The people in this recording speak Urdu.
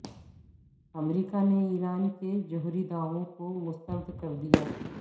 امریکہ نے ایران کے جوہری دعووں کو مسترد کر دیا